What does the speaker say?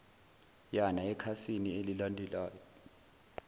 yana ekhasini elilandelayo